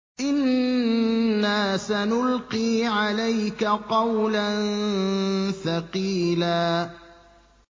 إِنَّا سَنُلْقِي عَلَيْكَ قَوْلًا ثَقِيلًا